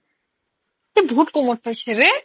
এইটো বহুত কমত পাইছে ৰে